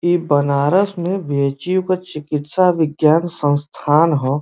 ई बनारस में बी.एच.यू. के चिकित्सा विज्ञान संस्थान ह।